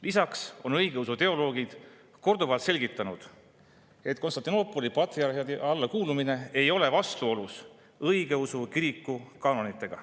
Lisaks on õigeusu teoloogid korduvalt selgitanud, et Konstantinoopoli patriarhaadi alla kuulumine ei ole vastuolus õigeusu kiriku kaanonitega.